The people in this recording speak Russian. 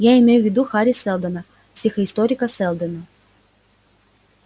я имею в виду хари сэлдона психоисторика сэлдона